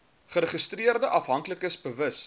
geregistreerde afhanklikes bewus